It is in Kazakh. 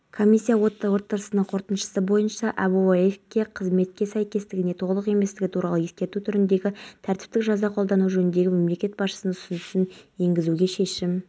салса да қатар сирер емес жыл басынан бері табиғатқа зиян келтіргендерге млн теңгеден астам айыппұл